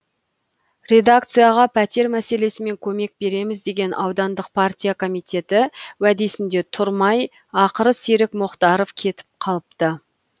редакцияға пәтер мәселесімен көмек береміз деген аудандық партия комитеті уәдесінде тұрмай ақыры серік мұхтаровпен кетіп қалыпты